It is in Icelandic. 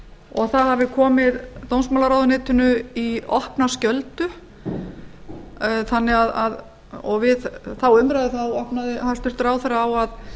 og það hafi komið dómsmálaráðuneytinu í opna skjöldu og við þá umræðu opnaði hæstvirtur ráðherra á að